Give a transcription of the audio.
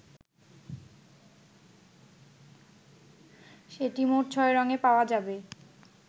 সেটটি মোট ছয় রঙে পাওয়া যাবে।